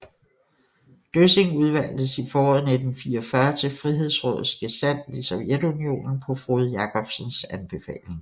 Døssing udvalgtes i foråret 1944 til Frihedsrådets gesandt i Sovjetunionen på Frode Jakobsens anbefaling